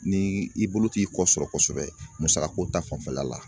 Ni i bolo t'i kɔ sɔrɔ kosɛbɛ musakako ta fanfɛla la